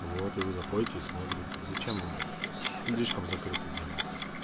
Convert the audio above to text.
вот вы заходите и смотрите зачем слишком закрытые делать